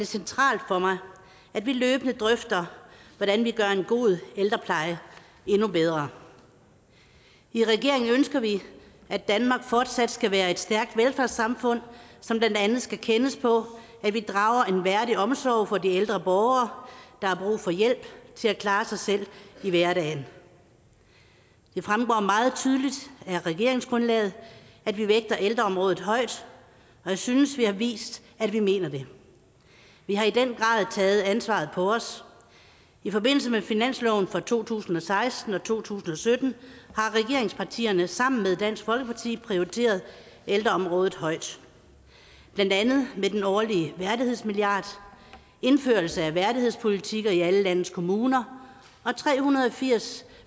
centralt for mig at vi løbende drøfter hvordan vi gør en god ældrepleje endnu bedre i regeringen ønsker vi at danmark fortsat skal være et stærkt velfærdssamfund som blandt andet skal kendes på at vi drager en værdig omsorg for de ældre borgere der har brug for hjælp til at klare sig selv i hverdagen det fremgår meget tydeligt af regeringsgrundlaget at vi vægter ældreområdet højt og jeg synes vi har vist at vi mener det vi har i den grad taget ansvaret på os i forbindelse med finansloven for to tusind og seksten og to tusind og sytten har regeringspartierne sammen med dansk folkeparti prioriteret ældreområdet højt blandt andet med den årlige værdighedsmilliard indførelse af værdighedspolitikker i alle landets kommuner og tre hundrede og firs